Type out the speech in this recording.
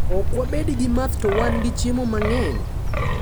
ok wabed gi math to wan gi chiemo mang’eny.